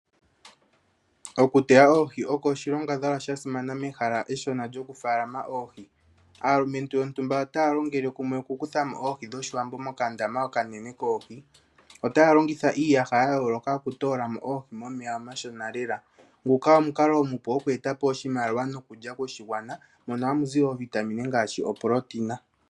okuteya oohi oko oshilongadhalwa sha simana mehala eshona lyokufaalama oohi. Aalumentu yontumbataya longele kumwe okukutha mo oohi dhOshiwambo mokandama okanene koohi. Otaya longitha iiyaha ya yooloka okutoola mo oohi momeya omashona lela. Nguka omukalo omupu oku eta po oshimaliwa nokulya koshigwana mono hamu zi iitungithi ngaashi oproteina.